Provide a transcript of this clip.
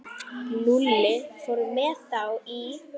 Lúlli fór með þá í